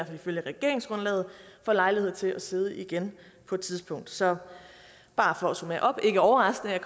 fald ifølge regeringsgrundlaget får lejlighed til at sidde igen på et tidspunkt så bare for at summere op ikke overraskende